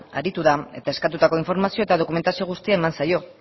aritu da eta eskatutako informazioa eta dokumentazio guztia eman zaio